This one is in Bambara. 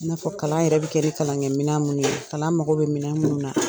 N'a fɔ kalan yɛrɛ bɛ kɛ kalan kɛ minɛn mun ye , kalan mago bɛ minɛn minnu na.